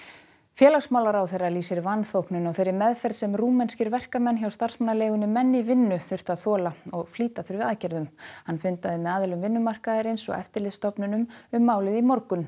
félagsmálaráðherra lýsir vanþóknun á þeirri meðferð sem rúmenskir verkamenn hjá starfsmannaleigunni menn í vinnu þurftu að þola og flýta þurfi aðgerðum hann fundaði með aðilum vinnumarkaðarins og eftirlitsstofnunum um málið í morgun